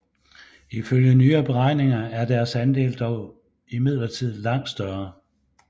Ifølge nyere beregninger er deres andel dog imidlertid langt større